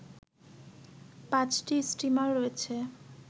৫টি স্টিমার রয়েছে